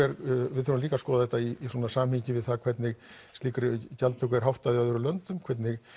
við þurfum líka að skoða þetta í svona samhengi við það hvernig slíkri gjaldtöku er háttað í öðrum löndum hvernig